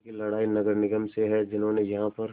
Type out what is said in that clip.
उनकी लड़ाई नगर निगम से है जिन्होंने यहाँ पर